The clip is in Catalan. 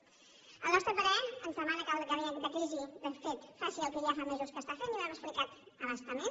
al nostre parer ens demana que el gabinet de crisi de fet faci el que ja fa mesos que fa i ho hem explicat a bastament